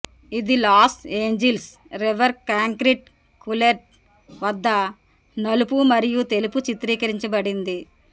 ఇది Los Angeles river concrete culvert వద్ద నలుపు మరియు తెలుపు చిత్రీకరించబడింది